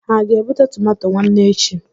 Ha ga-ebute tọmatọ nwanne echi?